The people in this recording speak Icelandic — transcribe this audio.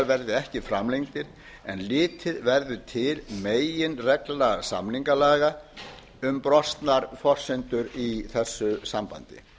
verði ekki framlengdir en litið verður til meginreglna samningalaga um brostnar forsendur í þessu sambandi